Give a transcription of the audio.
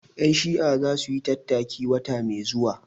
Ƴan Shi'a za su yi tattaki wata mai zuwa